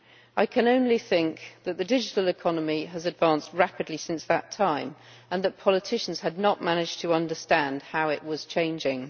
I can only think that the digital economy has advanced rapidly since that time and that politicians had not managed to understand how it was changing.